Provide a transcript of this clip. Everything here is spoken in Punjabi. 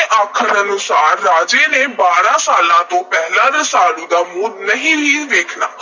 ਆਖਣ ਅਨੁਸਾਰ ਰਾਜੇ ਨੇ ਬਾਰ੍ਹਾਂ ਸਾਲਾਂ ਤੋਂ ਪਹਿਲਾਂ ਰਸਾਲੂ ਦਾ ਮੂੰਹ ਨਹੀਂ ਸੀ ਵੇਖਣਾ,